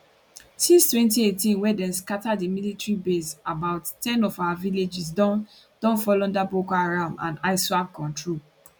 since 2018 wey dem scata di military base about ten of our villages don don fall under boko haram and iswap control